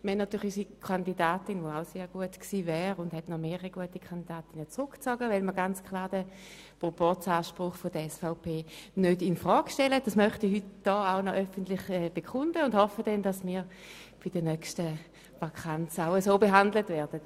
Unsere Kandidatin wäre auch sehr gut gewesen, und auch andere gute Kandidatinnen haben sich zurückgezogen, weil der Proporzanspruch der SVP nicht infrage gestellt wird.